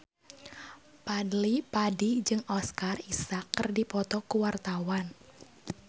Fadly Padi jeung Oscar Isaac keur dipoto ku wartawan